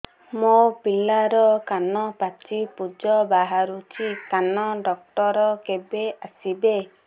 ମୋ ପିଲାର କାନ ପାଚି ପୂଜ ବାହାରୁଚି କାନ ଡକ୍ଟର କେବେ ଆସିବେ